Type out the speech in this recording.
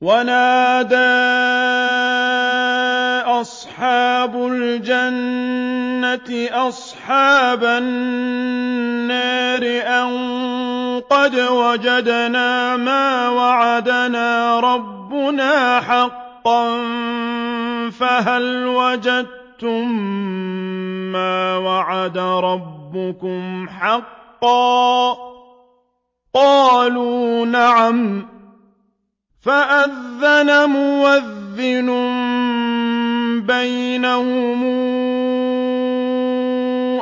وَنَادَىٰ أَصْحَابُ الْجَنَّةِ أَصْحَابَ النَّارِ أَن قَدْ وَجَدْنَا مَا وَعَدَنَا رَبُّنَا حَقًّا فَهَلْ وَجَدتُّم مَّا وَعَدَ رَبُّكُمْ حَقًّا ۖ قَالُوا نَعَمْ ۚ فَأَذَّنَ مُؤَذِّنٌ بَيْنَهُمْ